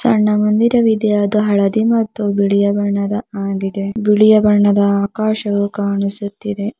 ಚೆಂಡ ಮಂದಿರವಿದೆ ಅದು ಹಳದಿ ಮತ್ತು ಬಿಳಿಯ ಬಣ್ಣದ ಆಗಿದೆ ಬಿಳಿಯ ಬಣ್ಣದ ಆಕಾಶವು ಕಾಣಿಸುತ್ತಿದೆ.